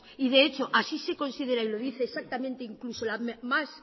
y de hecho así se considera y lo dice exactamente incluso la más